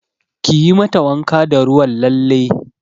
Kiyi mata wanka da ruwan lalle!